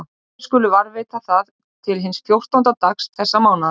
Og þér skuluð varðveita það til hins fjórtánda dags þessa mánaðar.